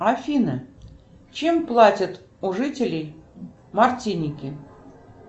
афина чем платят у жителей мартиники